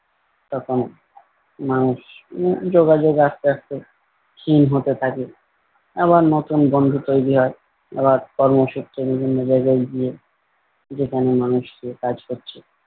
তখনও মানুষ উম যোগাযোগ আস্তে আস্তে ক্ষীণ হতে থাকে আবার নতুন বন্ধু তৈরী হয়। আবার কর্মসূত্রে বিভিন্ন জায়গায় গিয়ে যেখানে মানুষ গিয়ে কাজ করছে।